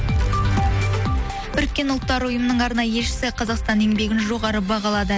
біріккен ұлттар ұйымының арнайы елшісі қазақстан еңбегін жоғары бағалады